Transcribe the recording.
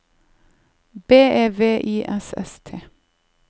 B E V I S S T